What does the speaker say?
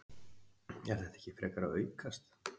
Er þetta ekki frekar að aukast?